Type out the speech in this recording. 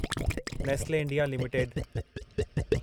Nestle India limited